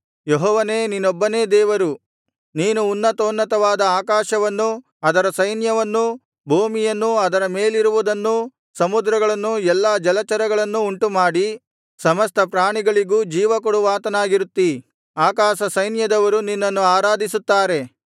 ಯೆಹೋವನೇ ನೀನೊಬ್ಬನೇ ದೇವರು ನೀನು ಉನ್ನತೋನ್ನತವಾದ ಆಕಾಶವನ್ನೂ ಅದರ ಸೈನ್ಯವನ್ನೂ ಭೂಮಿಯನ್ನೂ ಅದರ ಮೇಲಿರುವುದನ್ನೂ ಸಮುದ್ರಗಳನ್ನೂ ಎಲ್ಲಾ ಜಲಚರಗಳನ್ನೂ ಉಂಟುಮಾಡಿ ಸಮಸ್ತ ಪ್ರಾಣಿಗಳಿಗೂ ಜೀವಕೊಡುವಾತನಾಗಿರುತ್ತೀ ಆಕಾಶಸೈನ್ಯದವರು ನಿನ್ನನ್ನು ಆರಾಧಿಸುತ್ತಾರೆ